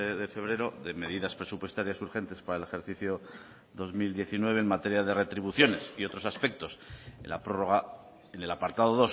de febrero de medidas presupuestarias urgentes para el ejercicio dos mil diecinueve en materia de retribuciones y otros aspectos en la prórroga en el apartado